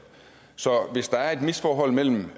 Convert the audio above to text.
så hvis der er et misforhold mellem